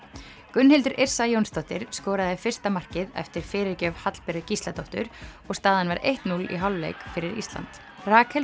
Gunnhildur Yrsa Jónsdóttir skoraði fyrsta markið eftir fyrirgjöf Hallberu Gísladóttur og staðan var eitt núll í hálfleik fyrir Ísland Rakel